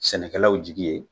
Sɛnɛkɛlaw jigi ye